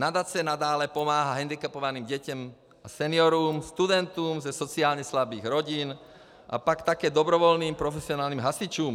Nadace nadále pomáhá hendikepovaným dětem, seniorům, studentům ze sociálně slabých rodin a pak také dobrovolným profesionálním hasičům.